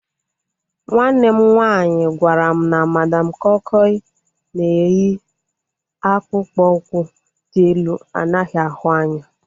Nwanne m nwaanyị gwara m na Madam koi koi na-eyi akpụkpọ ụkwụ dị elu anaghị ahụ anya